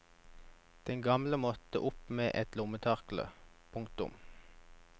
Den gamle måtte opp med et lommetørkle. punktum